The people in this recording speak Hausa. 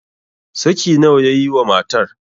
saki nawa ya yi wa matar?